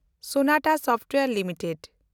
Sonata Software limited